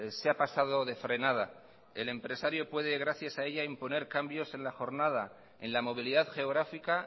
se ha pasado de frenada el empresario puede gracias a ella imponer cambios en la jornada en la movilidad geográfica